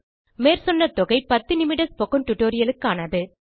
மேற்சொன்ன தொகை 10 நிமிட ஸ்போக்கன் டியூட்டோரியல் க்கானது